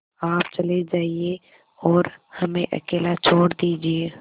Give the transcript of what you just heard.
आप चले जाइए और हमें अकेला छोड़ दीजिए